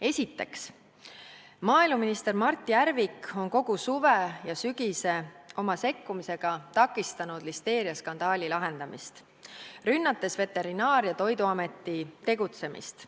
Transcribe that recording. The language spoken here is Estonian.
Esiteks, maaeluminister Mart Järvik on kogu suve ja sügise oma sekkumisega takistanud listeeriaskandaali lahendamist, rünnates Veterinaar- ja Toiduameti tegutsemist.